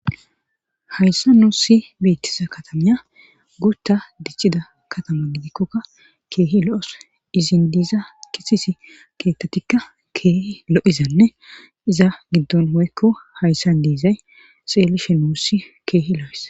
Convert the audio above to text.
Hayssa nuussi beettisa katamiya gutta dicida katama gidikkokka keehi lo7os izin diiza kisisi keettatikka keehi lo7izanne iza giddon hoykko hayssan diizay xeelishe nuussi keehi lo7es